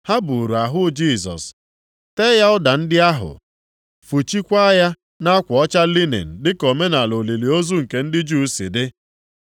Ha buuru ahụ Jisọs, tee ya ụda ndị ahụ, fụchikwaa ya nʼakwa ọcha linin dịka omenaala olili ozu nke ndị Juu si dị.